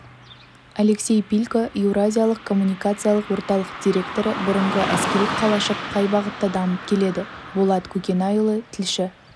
алексей пилько еуразиялық коммуникациялық орталық директоры бұрынғы әскери қалашық қай бағытта дамып келеді болат көкенайұлы тілші